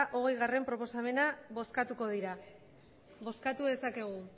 hogeigarrena proposamena bozkatuko dira bozkatu dezakegu